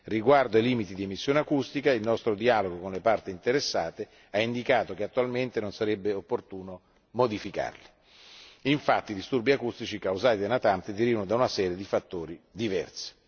Riguardo ai limiti di emissione acustica, il nostro dialogo con le parti interessate ha indicato che attualmente non sarebbe opportuno modificarli, infatti i disturbi acustici causati dai natanti derivano da una serie di fattori diversi.